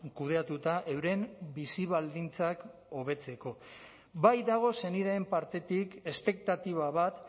kudeatuta euren bizi baldintzak hobetzeko bai dago senideen partetik espektatiba bat